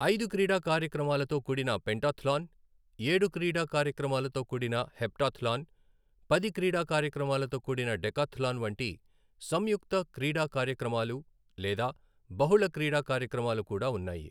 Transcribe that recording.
ఐదు క్రీడా కార్యక్రమాలతో కూడిన పెంటాథ్లాన్, ఏడు క్రీడా కార్యక్రమాలతో కూడిన హెప్టాథ్లాన్, పది క్రీడా కార్యక్రమాలతో కూడిన డెకాథ్లాన్ వంటి సంయుక్త క్రీడా కార్యక్రమాలు లేదా బహుళ క్రీడా కార్యక్రమాలు కూడా ఉన్నాయి.